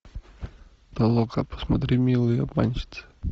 толока посмотри милые обманщицы